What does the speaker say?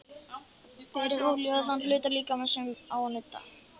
Berið olíu á þann hluta líkamans sem á að nudda.